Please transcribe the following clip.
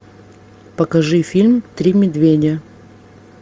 покажи фильм три медведя